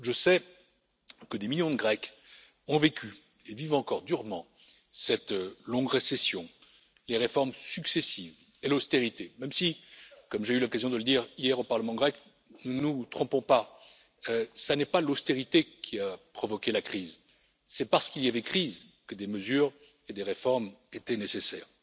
Je sais que des millions de Grecs ont vécu et vivent encore durement cette longue récession, les réformes successives et l'austérité même si, comme j'ai eu l'occasion de le dire hier au Parlement grec, ne nous trompons pas, ce n'est pas l'austérité qui a provoqué la crise, c'est parce qu'il y avait crise que des mesures et des réformes étaient nécessaires.